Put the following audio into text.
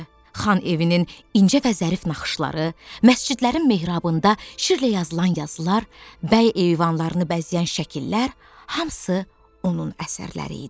Xan evinin incə və zərif naxışları, məscidlərin mehrabında şirlə yazılan yazılar, bəy eyvanlarını bəzəyən şəkillər hamısı onun əsərləri idi.